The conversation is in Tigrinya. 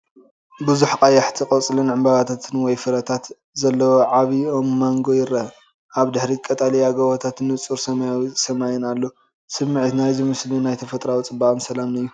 ብዙሕ ቀያሕቲ ቆፅልን ዕምባባታትን ወይ ፍረታት ዘለዎ ዓቢ ኦም ማንጎ ይርአ። ኣብ ድሕሪት ቀጠልያ ጎቦታትን ንጹር ሰማያዊ ሰማይን ኣሎ። ስምዒት ናይዚ ምስሊ ናይ ተፈጥሮኣዊ ጽባቐን ሰላምን እዩ።